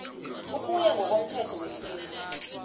ukuya ngokomthetho wesintu